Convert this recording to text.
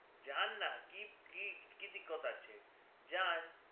যান না কি কি দিক্কত আছে যান